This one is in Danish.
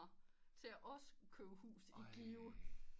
Til at også købe hus i Give